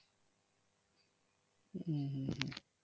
হম হম হম